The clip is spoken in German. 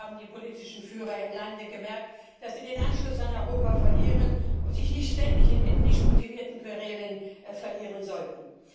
Hoffentlich haben die politischen Führer im Lande gemerkt, dass sie den Anschluss an Europa verlieren und sich nicht ständig in ethnisch motivierten Querelen verlieren sollten.